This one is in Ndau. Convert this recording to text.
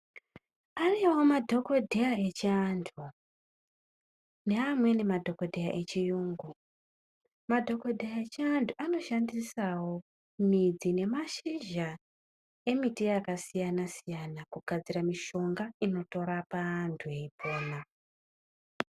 Ariyo madhogodheya echiantu, neamweni madhogodheya echiyungu .Madhogodheya echiantu anoshandisawo midzi nemashizha emiti yakasiyana siyana kugadzira mishonga inotorapa antu veyipona.